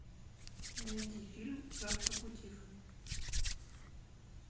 найди фильм завтрак у тиффани